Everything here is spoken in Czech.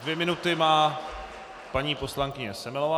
Dvě minuty má paní poslankyně Semelová.